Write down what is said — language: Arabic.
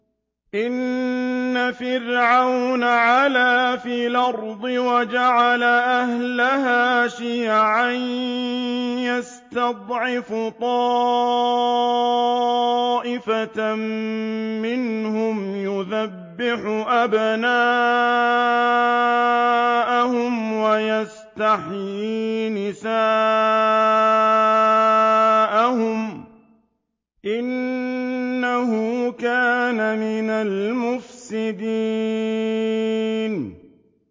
إِنَّ فِرْعَوْنَ عَلَا فِي الْأَرْضِ وَجَعَلَ أَهْلَهَا شِيَعًا يَسْتَضْعِفُ طَائِفَةً مِّنْهُمْ يُذَبِّحُ أَبْنَاءَهُمْ وَيَسْتَحْيِي نِسَاءَهُمْ ۚ إِنَّهُ كَانَ مِنَ الْمُفْسِدِينَ